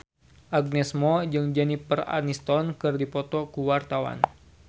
Agnes Mo jeung Jennifer Aniston keur dipoto ku wartawan